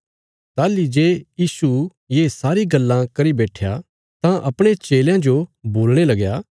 ताहली जे यीशु ये सारी गल्लां करी बैट्ठया तां अपणे चेलयां जो बोलणे लगया